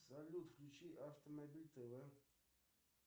салют включи автомобиль тв